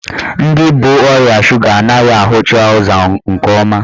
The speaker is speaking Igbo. Ndị bu ọrịa suga anaghị ahụcha ụzọ nke ọma.